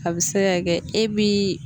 A bɛ se ka kɛ e bi